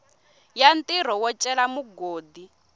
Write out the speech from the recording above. ya ntirho wo cela mugodi